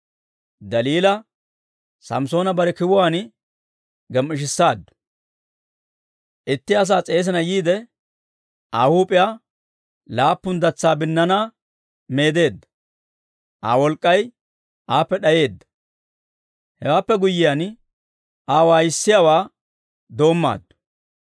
Daliila Samssoona bare kiwuwaan gem"ishisaaddu; itti asaa s'eesina yiide, Aa huup'iyaa laappun datsa binnaanaa meedeedda; Aa wolk'k'ay aappe d'ayeedda. Hewaappe guyyiyaan, Aa waayissiyaawaa doommaaddu;